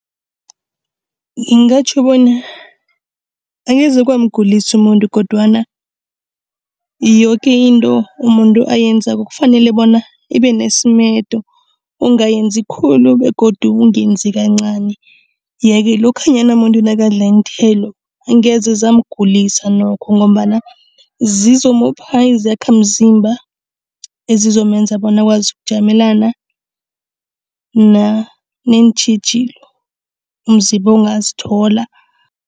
Ngingatjho bona angeze kwamgulisa umuntu kodwana yoke into umuntu ayenzako kufanele bona ibe nesimedo. Ungayenzi khulu begodu ungenzi kancani. Yeke lokhanyana muntu nakadla iinthelo angeze zamgulisa nokho ngombana zizomupha izakhamzimba ezizomenza bona akwazi ukujamelana neentjhijilo umzimba ongazithola.